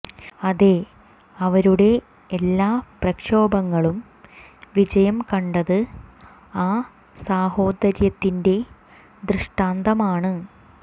അതെ അവരുടെ എല്ലാ പ്രക്ഷോഭങ്ങളും വിജയം കണ്ടത് ആ സാഹോദര്യത്തിന്റെ ദൃഷ്ടാന്തമാണ്